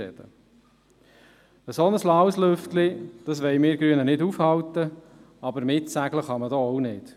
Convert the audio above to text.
Ein solch‘ laues Lüftchen wollen wir Grünen nicht aufhalten, aber mitsegeln kann man auch nicht.